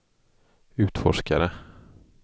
utforskare